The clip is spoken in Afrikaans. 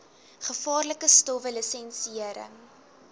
gevaarlike stowwe lisensiëring